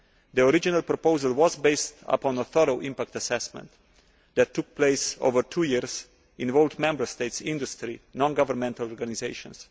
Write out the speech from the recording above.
The original proposal was based on a thorough impact assessment that took place over two years in Members States' industry and non governmental organisations.